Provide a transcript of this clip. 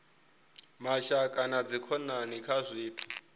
mashaka na dzikhonani kha zwithu